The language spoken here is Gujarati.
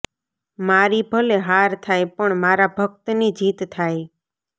મારી ભલે હાર થાય પણ મારા ભક્તની જીત થાય